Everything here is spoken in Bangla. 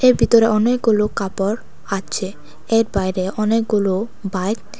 এর ভিতরে অনেকগুলো কাপড় আছে এর বাইরে অনেকগুলো বাইক --